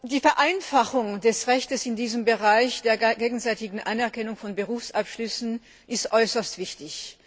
Die Vereinfachung des Rechts in diesem Bereich der gegenseitigen Anerkennung von Berufsabschlüssen ist äußerst wichtig.